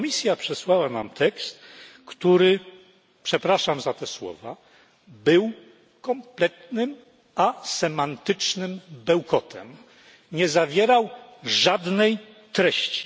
I Komisja przesłała nam tekst, który przepraszam za te słowa był kompletnym asemantycznym bełkotem, nie zawierał żadnej treści.